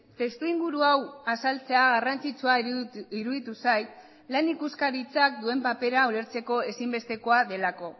testuinguru hau azaltzea garrantzitsua iruditu zait lan ikuskaritzak duen papera ulertzeko ezinbestekoa delako